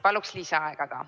Paluksin lisaaega ka.